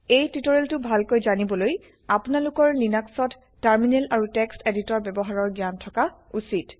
এই টিটোৰিয়েল টো ভালকে জানিবলৈ আপোনালোকৰ লিনাক্চত160 টাৰ্মিনেল আৰু টেক্সট্ এদিতৰ বয়ৱহাৰৰ জ্ঞ্যান থকা উছিত